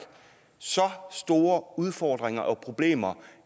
store udfordringer og problemer